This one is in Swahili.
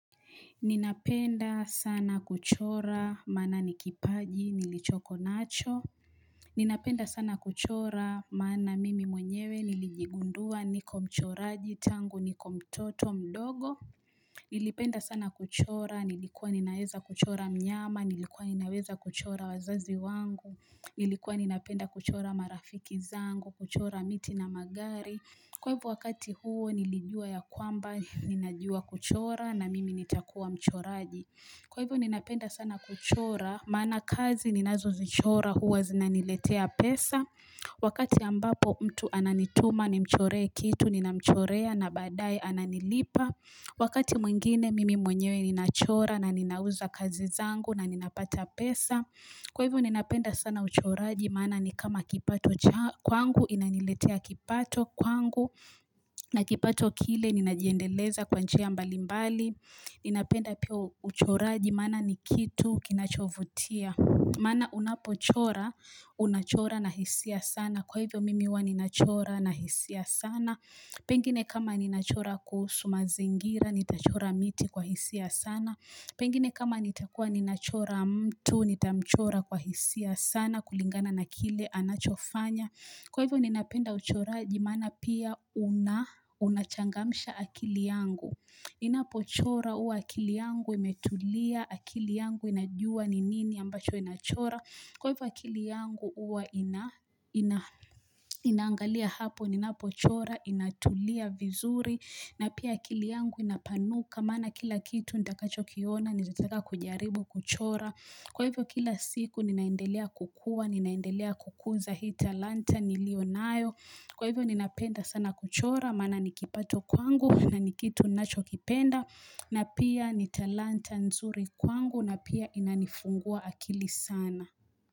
Ninapenda sana kuchora maana ni kipaji nilichoko nacho. Ninapenda sana kuchora maana mimi mwenyewe nilijigundua niko mchoraji tangu niko mtoto mdogo. Nilipenda sana kuchora, nilikuwa ninaweza kuchora mnyama, nilikuwa ninaweza kuchora wazazi wangu. Nilikuwa ninapenda kuchora marafiki zangu, kuchora miti na magari. Kwa hivyo wakati huo nilijua ya kwamba ninajua kuchora na mimi nitakuwa mchoraji. Kwa hivyo ninapenda sana kuchora maana kazi ninazozichora huwa zinaniletea pesa, Wakati ambapo mtu ananituma nimchoree kitu ninamchorea na baadaye ananilipa, Wakati mwingine mimi mwenyewe ninachora na ninauza kazi zangu na ninapata pesa. Kwa hivyo ninapenda sana uchoraji maana ni kama kipato kwangu, inaniletea kipato kwangu na kipato kile ninajiendeleza kwa njia mbalimbali. Ninapenda pio uchoraji maana ni kitu kinachovutia. Maana unapochora, unachora na hisia sana. Kwa hivyo mimi huwa ninachora na hisia sana. Pengine kama ninachora kuhusu mazingira, nitachora miti kwa hisia sana. Pengine kama nitakua ninachora mtu, nitamchora kwa hisia sana kulingana na kile anachofanya. Kwa hivyo ninapenda uchoraji maana pia unachangamsha akili yangu. Ninapochora huwa akili yangu imetulia, akili yangu inajua ni nini ambacho inachora, kwa hivyo akili yangu huwa inaangalia hapo, ninapochora, inatulia vizuri, na pia akili yangu inapanuka, maana kila kitu nitakachokiona, nitataka kujaribu kuchora. Kwa hivyo kila siku ninaendelea kukua, ninaendelea kukuza hii talanta niliyo nayo. Kwa hivyo ninapenda sana kuchora, maana ni kipato kwangu na ni kitu ninachokipenda na pia ni talanta nzuri kwangu na pia inanifungua akili sana.